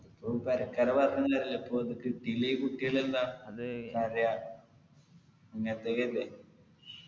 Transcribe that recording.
full പെരക്കാരെ പറഞ്ഞിട്ടും കാര്യല്ല ഇപ്പൊ അത് കിട്ടിലെ കുട്ടികളെന്താ അതെയാ ഇങ്ങത്തെയൊക്കെ ല്ലേ